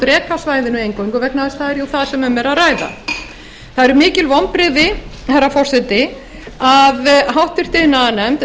drekasvæðinu eingöngu vegna þess að það er jú það sem um er að ræða það eru mikil vonbrigði herra forseti að háttvirtur iðnaðarnefnd